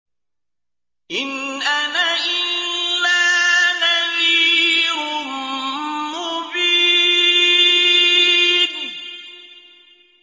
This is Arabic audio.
إِنْ أَنَا إِلَّا نَذِيرٌ مُّبِينٌ